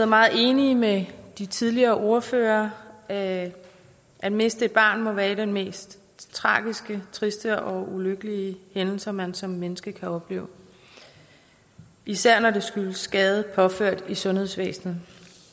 meget enige med de tidligere ordførere at at miste et barn må være en af de mest tragiske triste og ulykkelige hændelser man som menneske kan opleve især når det skyldes skade påført i sundhedsvæsenet